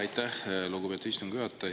Aitäh, lugupeetud istungi juhataja!